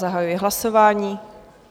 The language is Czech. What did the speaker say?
Zahajuji hlasování.